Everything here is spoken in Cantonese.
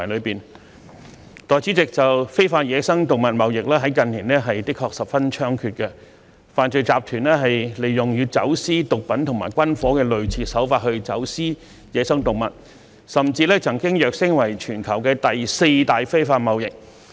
代理主席，非法野生動物貿易在近年的確十分猖獗，犯罪集團利用與走私毒品和軍火的類似手法走私野生動物，甚至曾躍升為全球第四大非法貿易。